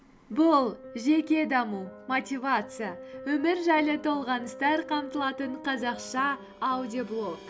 бұл жеке даму мотивация өмір жайлы толғаныстар қамтылатын қазақша аудиоблог